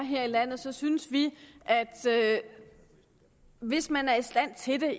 er her i landet så synes vi at hvis man er i stand til det